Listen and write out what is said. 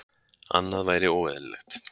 Annað væri óeðlilegt